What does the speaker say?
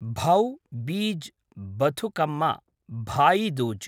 Bhau-Beej Bathukamma Bhai Dooj